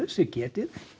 sem getið